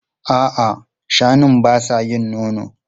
A'a, shanun ba sa yin nono.